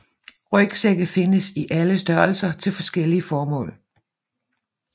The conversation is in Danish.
Rygsække findes i alle størrelser til forskellige formål